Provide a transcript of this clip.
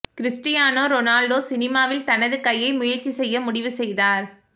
Cristiano Ronaldo சினிமாவில் தனது கையை முயற்சி செய்ய முடிவு செய்தார்